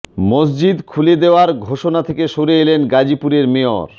মসজিদ খুলে দেওয়ার ঘোষণা থেকে সরে এলেন গাজীপুরের মেয়র